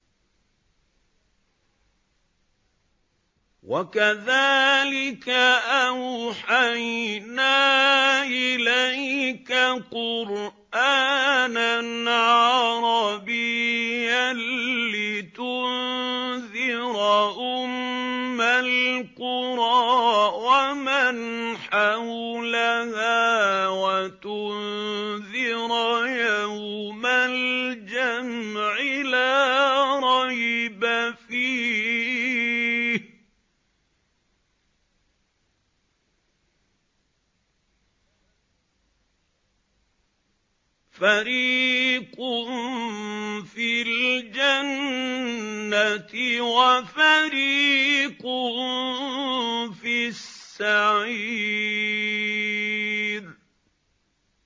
وَكَذَٰلِكَ أَوْحَيْنَا إِلَيْكَ قُرْآنًا عَرَبِيًّا لِّتُنذِرَ أُمَّ الْقُرَىٰ وَمَنْ حَوْلَهَا وَتُنذِرَ يَوْمَ الْجَمْعِ لَا رَيْبَ فِيهِ ۚ فَرِيقٌ فِي الْجَنَّةِ وَفَرِيقٌ فِي السَّعِيرِ